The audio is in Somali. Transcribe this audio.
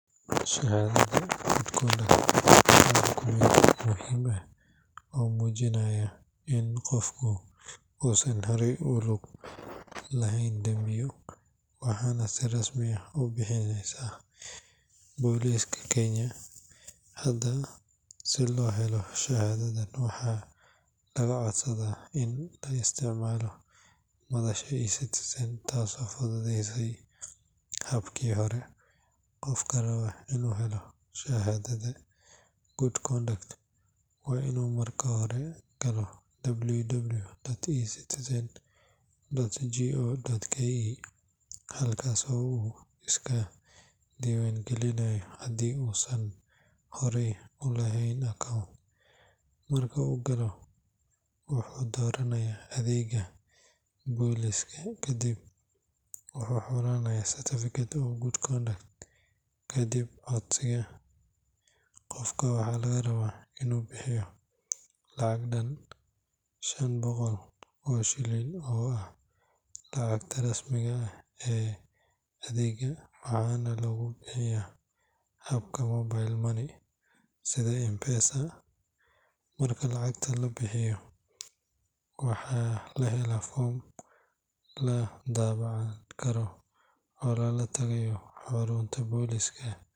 Shahaadada Good Conduct waa dukumenti muhiim ah oo muujinaya in qofku uusan horay ugu lug yeelan dambiyo, waxaana si rasmi ah u bixisa booliiska Kenya. Hadda, si loo helo shahaadadan, waxaa laga codsadaa in la isticmaalo madasha eCitizen taasoo fududeysay habkii hore. Qofka raba inuu helo shahaadada Good Conduct waa inuu marka hore galo www.ecitizen.go.ke, halkaas oo uu iska diiwaangelinayo haddii uusan horey u lahayn account. Marka uu galo, wuxuu dooranayaa adeegga booliiska, kadibna wuxuu xulanayaa Certificate of Good Conduct. Kadib codsiga, qofka waxaa laga rabaa inuu bixiyo lacag dhan shan boqol oo shilin oo ah lacagta rasmiga ah ee adeegga, waxaana lagu bixiyaa habka mobile money sida M-Pesa. Marka lacagta la bixiyo, waxaa la helaa foom la daabacan karo oo lala tagayo xarunta booliiska.